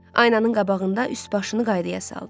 Aynanın qabağında üst-başını qaydaya saldı.